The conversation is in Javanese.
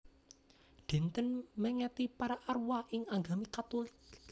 Dinten mèngeti para arwah ing agami Katulik